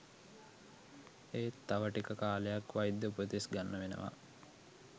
එත් තව ටික කාලයක් වෛද්‍ය උපදෙස් ගන්න වෙනවා